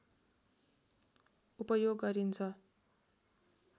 उपयोग गरिन्छ